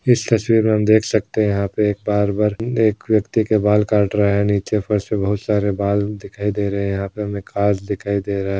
इस तस्वीर हम देख सकते हैं यहा पे एक बार्बर एक व्यक्ति के बाल काट रहा है नीचे फर्स पे बहुत सारे बाल दिखाई दे रहे यहां पे हमे काच दिखाई दे रा है।